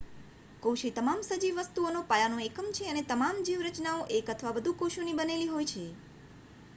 કોશએ તમામ સજીવ વસ્તુઓનો પાયાનો એકમ છે અને તમામ જીવ રચનાઓ એક અથવા વધુ કોશોની બનેલી હોય છે